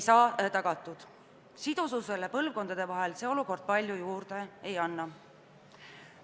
Põlvkondadevahelisele sidususele see olukord palju juurde ei anna.